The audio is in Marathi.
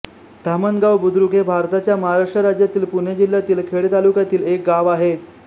धामणगाव बुद्रुक हे भारताच्या महाराष्ट्र राज्यातील पुणे जिल्ह्यातील खेड तालुक्यातील एक गाव आहे